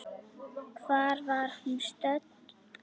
Hvar var hún stödd?